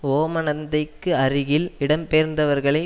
ஓமந்தைக்கு அருகில் இடம்பெயர்ந்தவர்களை